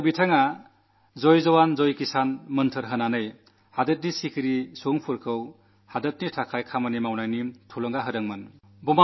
അദ്ദേഹം ജയ് ജവാൻ ജയ് കിസാൻ എന്ന മന്ത്രം നല്കിക്കൊണ്ട് രാജ്യത്തിലെ സാധാരണ ജനത്തിന് നാടിനുവേണ്ടി എങ്ങനെയാണു പ്രവർത്തിക്കേണ്ടതെന്നു പ്രേരണയേകി